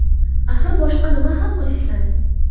Axir boshqa nima ham qilishsin?